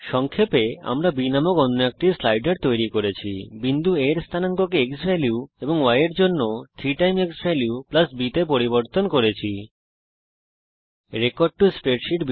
সংক্ষেপে আমরা b নামক অন্য একটি স্লাইডার তৈরী করেছি বিন্দু A এর স্থানাঙ্ককে ক্সভ্যালিউ এবং y স্থানাঙ্ক এর জন্য 3 ক্সভ্যালিউ b তে পরিবর্তন করেছি